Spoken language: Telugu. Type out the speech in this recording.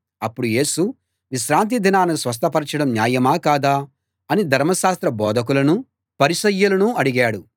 అప్పుడు యేసు విశ్రాంతి దినాన స్వస్థపరచడం న్యాయమా కాదా అని ధర్మశాస్త్ర బోధకులనూ పరిసయ్యులనూ అడిగాడు